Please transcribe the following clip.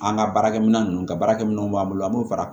An ka baarakɛminɛn ninnu ka baarakɛminɛnw b'an bolo an b'o fara